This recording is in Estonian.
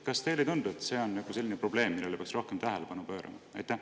Kas teile ei tundu, et see on probleem, millele peaks rohkem tähelepanu pöörama?